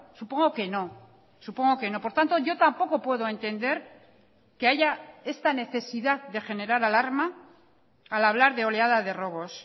supongo que no supongo que no por tanto yo tampoco puedo entender que haya esta necesidad de generar alarma al hablar de oleada de robos